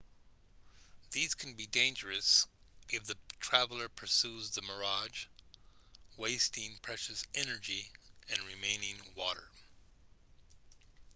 these can be dangerous if the traveler pursue the mirage wasting precious energy and remaining water